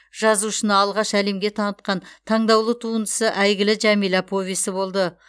жазушыны алғаш әлемге танытқан таңдаулы туындысы әйгілі жәмила повесі болды